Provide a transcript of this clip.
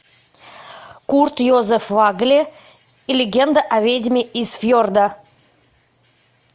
курт йозеф вагле и легенда о ведьме из фьорда